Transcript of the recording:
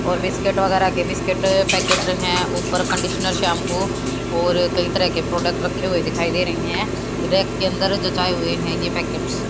और बिस्किट वगैरह के बिस्किट पैकेट है। ऊपर कंडीशनर शैंपू और कई तरह के प्रोडक्ट रखे हुए दिखाईं दे रही है। रैक के अंदर जचाए हुए है ये पैकेट्स --